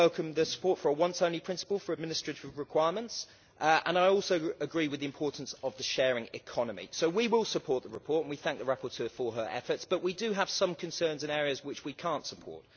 I welcome the support for a once-only principle for administrative requirements and I also agree with the importance of the sharing economy. So we will support the report and we thank the rapporteur for her efforts, but we do have some concerns in areas which we cannot support.